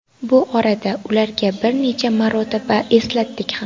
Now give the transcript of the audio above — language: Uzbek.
Bu orada ularga bir necha marotaba eslatdik ham.